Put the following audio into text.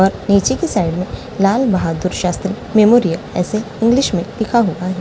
नीचे की साइड में लाल बहादुर शास्त्री मेमोरियल ऐसे इंग्लिश में लिखा लिखा हुआ।